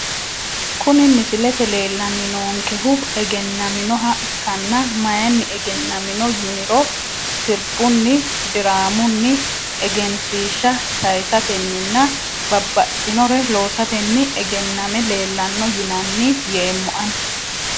Kuni misilete leelani noonkehu egenaminoha ikkana mayiini egenamino yiniro sirbunni diraamuni egenshiisha sayisateninina babaxinore loosateni egename leelano yinani yeemo ani.